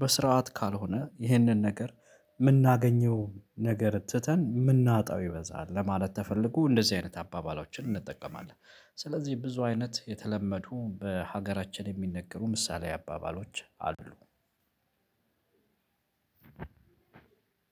በስርዓት ካልሆነ ይህንን ነገር የምናገኘው ነገር ትተን የምናጣው ይበዛል። ለማለት ተፈልጎ እንደዚህ አይነት አባባላችንን ስለዚህ ብዙ አይነት የተለመዱ በሀገራችን የሚነገሩ ምሳሌ አባባሎች አሉ።